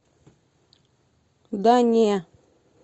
да не